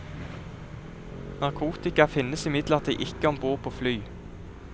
Narkotika finnes imidlertid ikke ombord på fly.